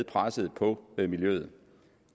presset på miljøet